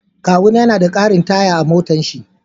Kawuna ya na na da karin taya a motan shi.